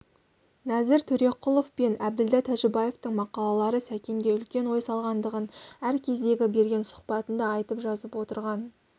нәзір төреқұлов пен әбділда тәжібаевтың мақалалары сәкенге үлкен ой салғандығын әркездегі берген сұхбатында айтып жазып отырған